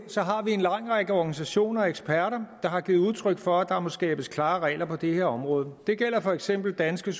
har vi en lang række organisationer og eksperter der har givet udtryk for at der må skabes klare regler på det her område det gælder for eksempel dansk